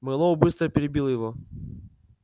мэллоу быстро перебил его